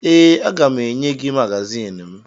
Ee, aga m enye gị magazin m